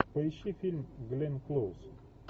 поищи фильм гленн клоуз